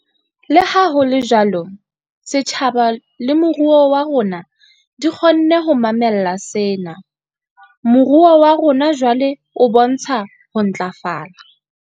Leha ho le jwalo, setjhaba le moruo wa rona di kgonne ho mamella sena. Moruo wa rona jwale o bontsha ho ntlafala.